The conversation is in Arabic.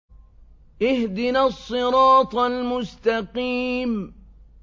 اهْدِنَا الصِّرَاطَ الْمُسْتَقِيمَ